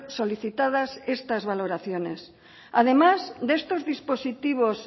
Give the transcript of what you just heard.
solicitadas estas valoraciones además de estos dispositivos